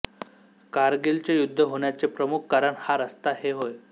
कारगिलचे युद्ध होण्याचे प्रमुख कारण हा रस्ता हे होय